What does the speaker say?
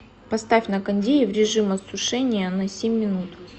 поставь на кондее в режим осушения на семь минут